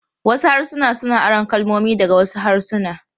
Wasu harsuna suna aron kalmomi daga wasu harsuna.